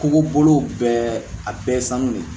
Kogo bolow bɛɛ a bɛɛ ye sanu de ye